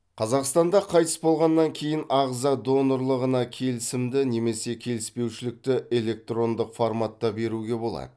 қазақстанда қайтыс болғаннан кейін ағза донорлығына келісімді немесе келіспеушілікті электрондық форматта беруге болады